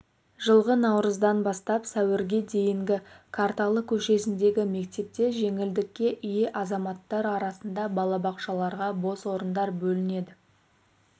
жылғы наурыздан бастап сәуірге дейін қарталы көшесіндегі мектепте жеңілдікке ие азаматтар арасында балабақшаларға бос орындар бөлінеді